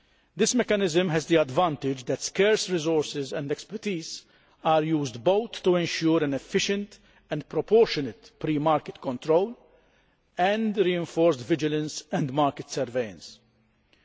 This mechanism has the advantage that scarce resources and expertise are used to ensure efficient and proportionate pre market control and reinforced vigilance and market surveillance.